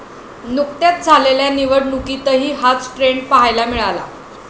नुुकत्याच झालेल्या निवडणुकीतही हाच ट्रेंड पहायला मिळाला.